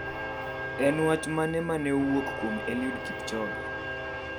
En wach mane mane owuok kuom Eliud Kipchoge